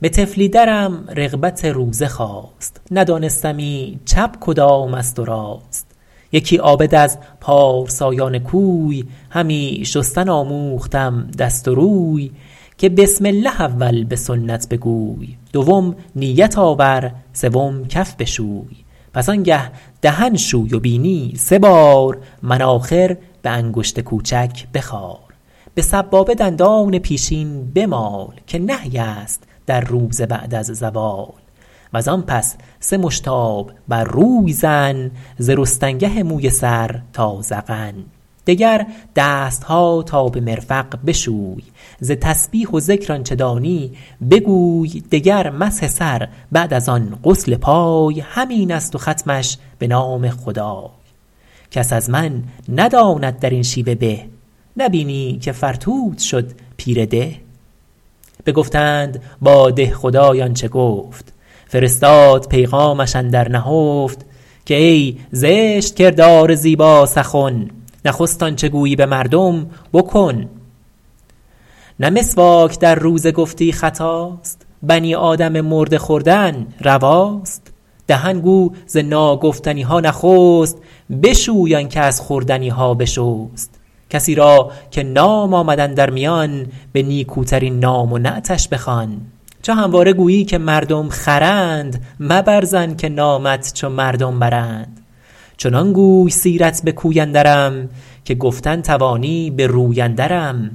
به طفلی درم رغبت روزه خاست ندانستمی چپ کدام است و راست یکی عابد از پارسایان کوی همی شستن آموختم دست و روی که بسم الله اول به سنت بگوی دوم نیت آور سوم کف بشوی پس آن گه دهن شوی و بینی سه بار مناخر به انگشت کوچک بخار به سبابه دندان پیشین بمال که نهی است در روزه بعد از زوال وز آن پس سه مشت آب بر روی زن ز رستنگه موی سر تا ذقن دگر دستها تا به مرفق بشوی ز تسبیح و ذکر آنچه دانی بگوی دگر مسح سر بعد از آن غسل پای همین است و ختمش به نام خدای کس از من نداند در این شیوه به نبینی که فرتوت شد پیر ده بگفتند با دهخدای آنچه گفت فرستاد پیغامش اندر نهفت که ای زشت کردار زیبا سخن نخست آنچه گویی به مردم بکن نه مسواک در روزه گفتی خطاست بنی آدم مرده خوردن رواست دهن گو ز ناگفتنیها نخست بشوی آن که از خوردنیها بشست کسی را که نام آمد اندر میان به نیکوترین نام و نعتش بخوان چو همواره گویی که مردم خرند مبر ظن که نامت چو مردم برند چنان گوی سیرت به کوی اندرم که گفتن توانی به روی اندرم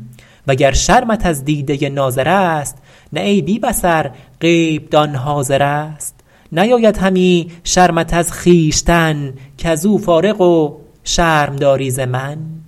وگر شرمت از دیده ناظر است نه ای بی بصر غیب دان حاضر است نیاید همی شرمت از خویشتن کز او فارغ و شرم داری ز من